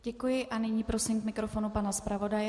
Děkuji a nyní prosím k mikrofonu pana zpravodaje.